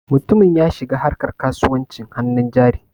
Mutumin ya shiga harka kasuwancin hannun jari.